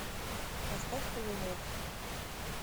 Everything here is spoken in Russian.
поставь камелот